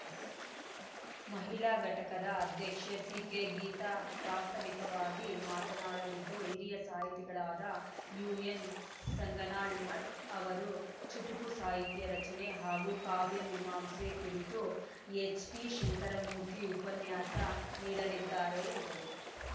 ಮಹಿಳಾ ಘಟಕದ ಅಧ್ಯಕ್ಷೆ ಸಿಕೆಗೀತಾ ಪ್ರಾಸ್ತಾವಿಕವಾಗಿ ಮಾತನಾಡಲಿದ್ದು ಹಿರಿಯ ಸಾಹಿತಿಗಳಾದ ಯುಎನ್‌ಸಂಗನಾಳ್‌ ಮಠ್‌ ಅವರು ಚುಟುಕು ಸಾಹಿತ್ಯ ರಚನೆ ಹಾಗೂ ಕಾವ್ಯಮೀಮಾಂಸೆ ಕುರಿತು ಎಚ್‌ಟಿಶಂಕರಮೂರ್ತಿ ಉಪನ್ಯಾಸ ನೀಡಲಿದ್ದಾರೆ ಎಂದರು